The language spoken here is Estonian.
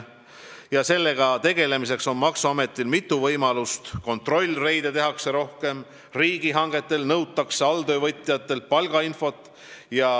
Maksuametil on sellega tegelemiseks mitu võimalust: tehakse rohkem kontrollreide ja nõutakse riigihangetel alltöövõtjatelt palgainfot.